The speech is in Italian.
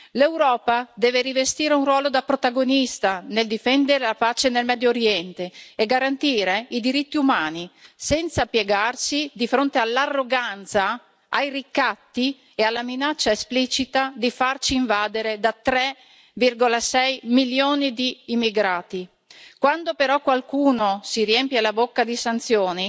L'Europa deve rivestire un ruolo da protagonista nel difendere la pace nel Medio Oriente e garantire i diritti umani, senza piegarsi di fronte all'arroganza, ai ricatti e alla minaccia esplicita di farci invadere da 3,6 milioni di immigrati. Quando però qualcuno si riempie la bocca di sanzioni,